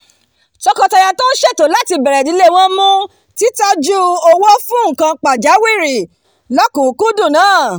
tọkọtaya tó ń ṣètò láti bèrè ìdílé wọn mú titoju owó fún nǹkan pajáwìrì lọkùkúndùn nàá